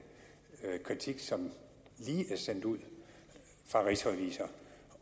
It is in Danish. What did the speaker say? kritik som lige er sendt ud fra rigsrevisor